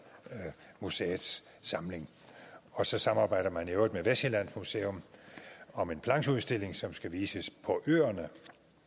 museets samling og så samarbejder man i øvrigt med vestsjællands museum om en plancheudstilling som skal vises på øerne